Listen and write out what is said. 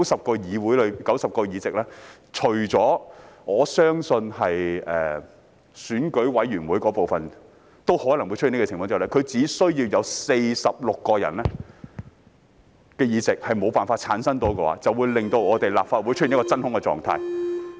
便是在90個議席當中——我相信選舉委員會的部分也可能會出此情況——只要有46個議席無法產生，便會令立法會出現真空狀態。